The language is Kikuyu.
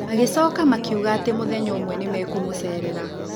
Magĩcoka makiuga atĩ mũthenya ũmwe nĩ mekũmũceerera.